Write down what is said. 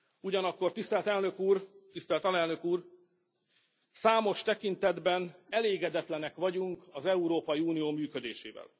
Ugyanakkor, tisztelt Elnök Úr, tisztelt Alelnök Úr, számos tekintetben elégedetlenek vagyunk az Európai Unió működésével.